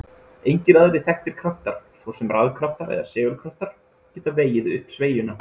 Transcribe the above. Engir aðrir þekktir kraftar, svo sem rafkraftar eða segulkraftar, geta vegið upp sveigjuna.